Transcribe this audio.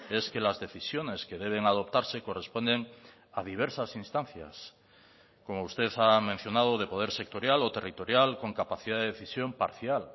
es que las decisiones que deben adoptarse corresponden a diversas instancias como usted ha mencionado de poder sectorial o territorial con capacidad de decisión parcial